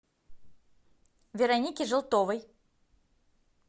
вероники желтовой